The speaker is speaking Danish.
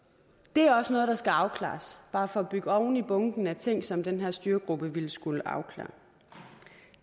det er også noget der skal afklares bare for at bygge oven i bunken af ting som den her styregruppe vil skulle afklare